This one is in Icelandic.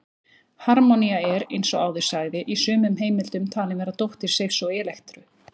Harmonía er, eins og áður sagði, í sumum heimildum talin vera dóttir Seifs og Elektru.